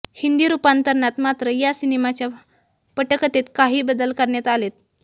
हिंदी रुपांतरणात मात्र या सिनेमाच्या पटकथेत काही बदल करण्यात आलेत